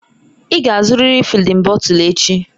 Ị ga-azụrịrị fịdin bọtul echi!